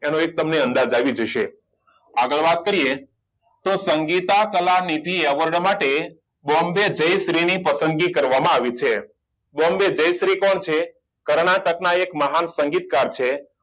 એનો એક તમને અંદાજ આવી જશે આગળ વાત કરીએ તો સંગીતા કલા નિધિ એવોર્ડ માટે બોમ્બે જયશ્રી ની પસંદગી કરવામાં આવી છે બોમ્બે જયશ્રી કોણ છે કર્ણાટક ના એક મહાન સંગીતકાર છે